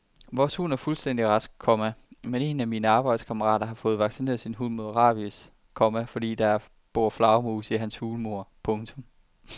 Vores hund er fuldstændig rask, komma men en af mine arbejdskammerater får vaccineret sin hund mod rabies, komma fordi der bor flagermus i hans hulmur. punktum